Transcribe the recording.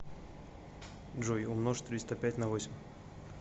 джой умножь триста пять на восемь